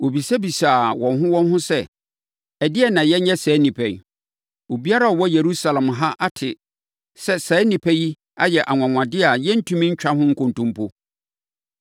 Wɔbisabisaa wɔn ho wɔn ho sɛ, “Ɛdeɛn na yɛnyɛ saa nnipa yi? Obiara a ɔwɔ Yerusalem ha ate sɛ saa nnipa yi ayɛ anwanwadeɛ a yɛrentumi ntwa ho nkontompo.